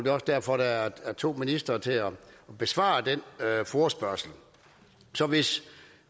er også derfor der er to ministre til at besvare den forespørgsel så hvis